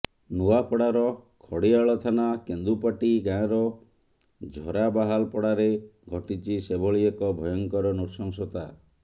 ନୂଆପଡାର ଖଡିଆଳ ଥାନା କେନ୍ଦୁପାଟି ଗାଁର ଝରାବାହାଲପଡାରେ ଘଟିଛି ସେଭଳି ଏକ ଭୟଙ୍କର ନୃଶଂସତା